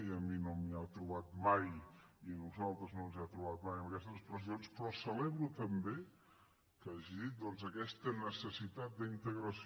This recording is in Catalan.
i a mi no m’hi ha trobat mai i a nosaltres no ens ha trobat en aquestes expressions però celebro també que hagi dit doncs aquesta necessitat d’integració